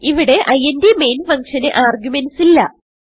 ഇവിടെ int main function ന് arguments ഇല്ല